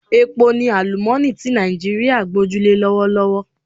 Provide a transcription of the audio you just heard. Epo ni àlúmooni ti Nàìjíríà gboju le lọ́wọ́lọ́wọ́